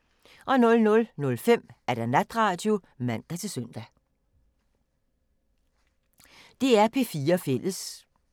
DR P4 Fælles